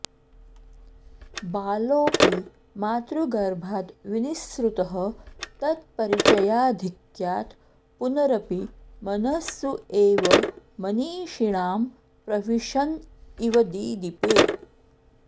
बालोऽपि मातृगर्भाद् विनिस्सृतः तत्परिचयाधिक्यात् पुनरपि मनःसु एव मनीषिणां प्रविशन् इव दिदीपे